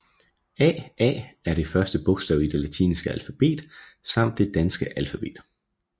A a er det første bogstav i det latinske alfabet samt det danske alfabet